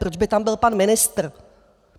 Proč by tam byl pan ministr?